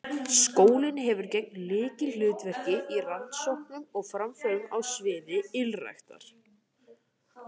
Skólinn hefur gegnt lykilhlutverki í rannsóknum og framförum á sviði ylræktar.